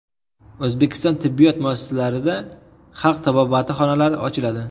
O‘zbekiston tibbiyot muassasalarida xalq tabobati xonalari ochiladi.